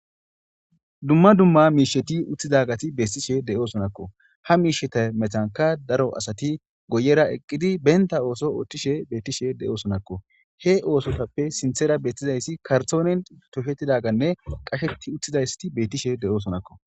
dumma dumma miisheti utthidagati beetishe de7osonakko ha miisheta metanka daro asati guyera eqqidi benta ooso oothtishe beettishe de7osonakko he oosotappe sinthera beettizayssi kartoonen toshettidaganne qasheti utthizayssti bettishe de7oosonakko